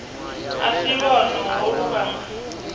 a si lwone holu lwanga